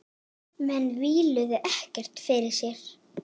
Menn víluðu ekkert fyrir sér.